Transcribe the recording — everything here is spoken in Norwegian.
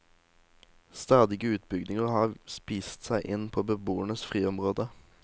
Stadige utbygginger har spist seg inn på beboernes friområde.